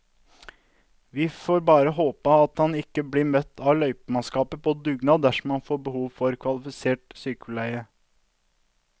Vi får bare håpe at han ikke blir møtt av løypemannskaper på dugnad dersom han får behov for kvalifisert sykepleie.